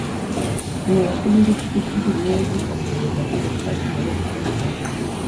Ng'iyo piny gi pikipiki miyo ji ong'eyo lokruok matimore e kor lwasi.